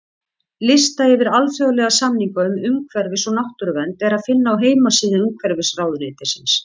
Lista yfir alþjóðlega samninga um umhverfis- og náttúruvernd er að finna á heimasíðu Umhverfisráðuneytisins.